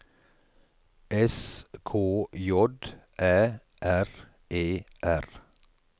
S K J Æ R E R